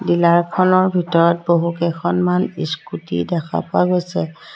Dealer খনৰ ভিতৰত বহু কেইখনমান ইস্কুটী দেখা পোৱা গৈছে।